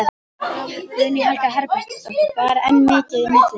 Guðný Helga Herbertsdóttir: Ber enn mikið í milli?